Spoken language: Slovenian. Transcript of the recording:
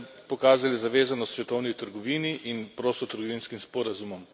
pokazali zavezanost svetovni trgovini in prostotrgovinskim sporazumom.